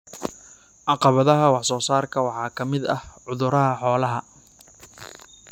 Caqabadaha wax soo saarka waxaa ka mid ah cudurrada xoolaha.